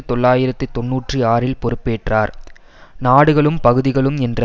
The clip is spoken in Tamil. தொள்ளாயிரத்தி தொன்னூற்றி ஆறில் பொறுப்பேற்றார் நாடுகளும் பகுதிகளும் என்ற